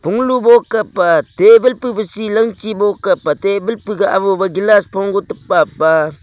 mulu voka pah table seh langchii table puh gah aho table pa pah.